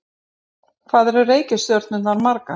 Hvað eru reikistjörnurnar margar?